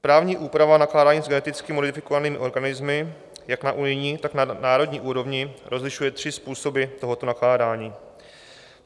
Právní úprava nakládání s geneticky modifikovanými organismy jak na unijní, tak na národní úrovni rozlišuje tři způsoby tohoto nakládání.